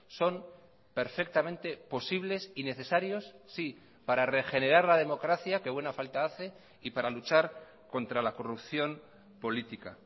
son perfectamente posibles y necesarios sí para regenerar la democracia que buena falta hace y para luchar contra la corrupción política